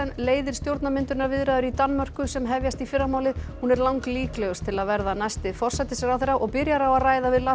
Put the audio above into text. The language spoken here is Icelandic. leiðir stjórnarmyndunarviðræður í Danmörku sem hefjast í fyrramálið hún er langlíklegust til að verða næsti forsætisráðherra og byrjar á að ræða við Lars